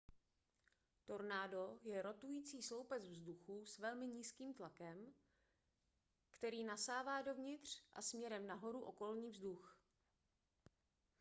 tornádo je rotující sloupec vzduchu s velmi nízkým tlakem který nasává dovnitř a směrem nahoru okolní vzduch